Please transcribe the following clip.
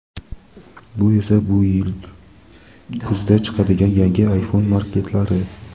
Bu esa bu yil kuzda chiqadigan yangi iPhone maketlari.